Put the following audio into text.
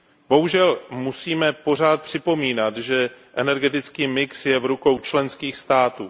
Bohužel musíme pořád připomínat, že energetický mix je v rukou členských států.